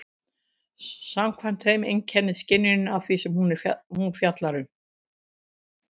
Samkvæmt þeim einkennist skynjunin af því sem hún fjallar um.